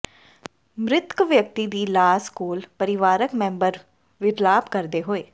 ਮ੍ਰਿਤਕ ਵਿਅਕਤੀ ਦੀ ਲਾਸ ਕੋਲ ਪਰਿਵਾਰਕ ਮੈਂਬਰ ਵਿਰਲਾਪ ਕਰਦੇ ਹੋਏ